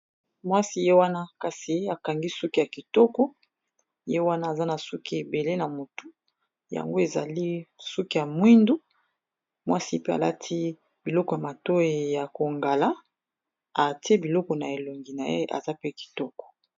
mwasi ye wana kasi akangi suki ya kitoko ye wana aza na suki ebele na motu yango ezali suki ya mwindu mwasi pe alati biloko ya bozinga na moindo ya kongala ati biloko na elongi na ye aza pe kitoko.